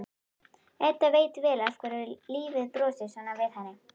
Edda veit vel af hverju lífið brosir svona við henni.